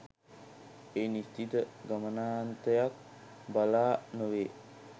ඒ නිශ්චිත ගමනාන්තයක් බලා නොවේ.